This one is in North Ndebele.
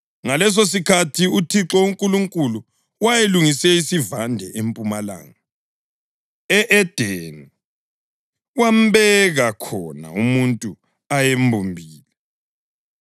Ngalesosikhathi uThixo uNkulunkulu wayelungise isivande empumalanga, e-Edeni; wambeka khona umuntu ayembumbile.